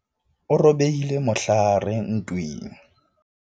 o robehile mohlahare ntweng